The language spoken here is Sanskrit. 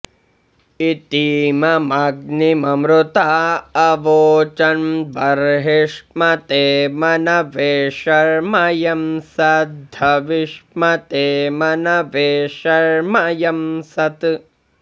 इती॒मम॒ग्निम॒मृता॑ अवोचन्ब॒र्हिष्म॑ते॒ मन॑वे॒ शर्म॑ यंसद्ध॒विष्म॑ते॒ मन॑वे॒ शर्म॑ यंसत्